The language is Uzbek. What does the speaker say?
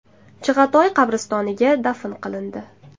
Chig‘atoy qabristoniga dafn qilindi.